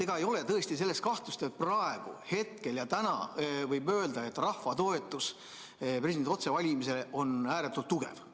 Ega ei ole tõesti kahtlust, et praegu, hetkel ja täna, võib öelda, et rahva toetus presidendi otsevalimisele on ääretult tugev.